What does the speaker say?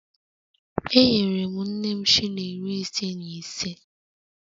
Enyere m nne m shilling iri ise na ise